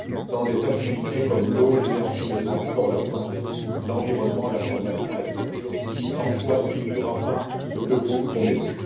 dans des activités comme l'eau, l'énergie, les transports, la santé, l'environnement, la formation, la culture, sans quoi il n'y aura pas ce que vous promettez.